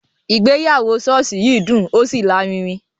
Ìgbéyàwó ṣọ́ọ̀ṣì yìí dùn ó ṣì larinrin